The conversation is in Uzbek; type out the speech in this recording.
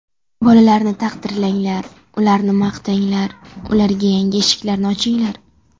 Bolalarni taqdirlanglar, ularni maqtanglar, ularga yangi eshiklarni ochinglar!